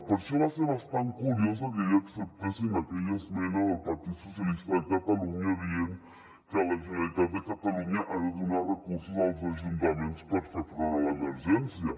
per això va ser bastant curiós que acceptessin aquella esmena del partit socialista de catalunya dient que la generalitat de catalunya ha de donar recursos als ajuntaments per fer front a l’emergència